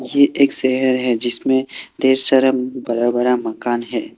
ये एक शहर है जिसमें ढेर सारा बड़ा बड़ा मकान है।